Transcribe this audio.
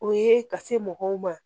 O ye ka se mɔgɔw ma